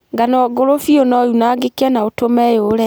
Ngano ngũrũ biũ nounangĩke na ũtũma yũle.